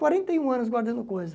Quarenta e um anos guardando coisa.